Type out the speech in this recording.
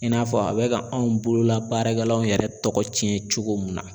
I n'a fɔ a bɛ ka anw bolola baarakɛlaw yɛrɛ tɔgɔ tiɲɛ cogo mun na.